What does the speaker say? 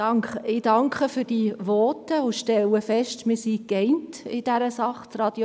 Ich danke für diese Voten und stelle fest, dass wir uns in dieser Sache einig sind: